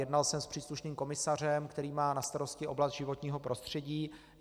Jednal jsem s příslušným komisařem, který má na starosti oblast životního prostředí.